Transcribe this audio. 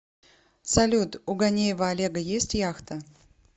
салют у ганеева олега есть яхта